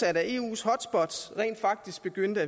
at eus hotspots rent faktisk begyndte